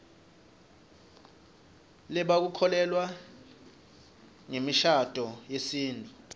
lebaku kholelwa nzemishaduo yesitfu